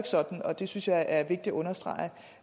sådan og det synes jeg er vigtigt at understrege